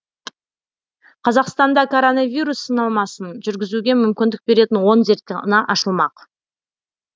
қазақстанда короновирус сынамасын жүргізуге мүмкіндік беретін он зертхана ашылмақ